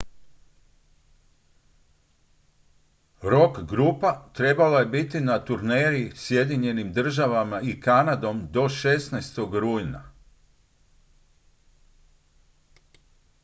rock-grupa trebala je biti na turneji sjedinjenim državama i kanadom do 16. rujna